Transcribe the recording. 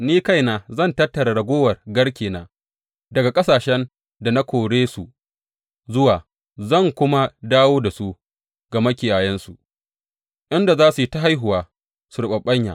Ni kaina zan tattara raguwar garkena daga ƙasashen da na kore su zuwa zan kuma dawo da su ga makiyayansu, inda za su yi ta haihuwa su riɓaɓɓanya.